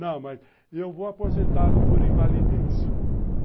Não, mas eu vou aposentá-lo por invalidez.